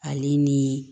Ale ni